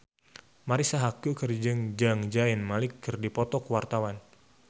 Marisa Haque jeung Zayn Malik keur dipoto ku wartawan